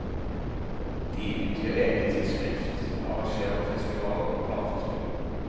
De utgir eget tidsskrift, arrangerer festivaler og plateinnspillinger.